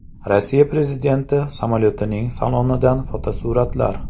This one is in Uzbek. Rossiya prezidenti samolyotining salonidan fotosuratlar.